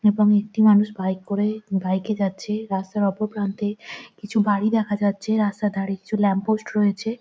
এবং একটি মানুষ বাইক করে বাইক এ যাচ্ছে রাস্তার ওপর প্রান্তে কিছু বাড়ি দেখা যাচ্ছে রাস্তার ধরে কিছু ল্যাম্প পোস্ট রয়েছে।